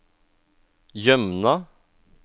Jømna